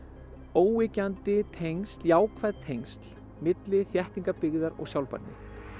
óyggjandi tengsl jákvæð tengsl milli byggðar og sjálfbærni